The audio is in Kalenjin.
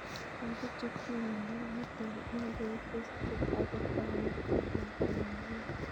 Lagok chetinye miondop nitok mengech kesiche akotaku kou lakwa nepo kila